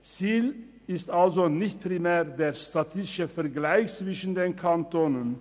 Ziel ist also nicht primär der statistische Vergleich zwischen den Kantonen.